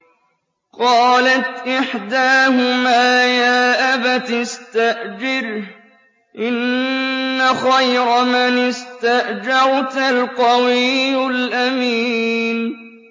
قَالَتْ إِحْدَاهُمَا يَا أَبَتِ اسْتَأْجِرْهُ ۖ إِنَّ خَيْرَ مَنِ اسْتَأْجَرْتَ الْقَوِيُّ الْأَمِينُ